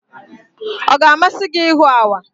Ọ ga-amasị gị ịhụ awa?